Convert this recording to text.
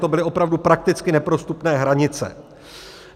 To byly opravdu prakticky neprostupné hranice.